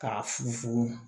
K'a funfun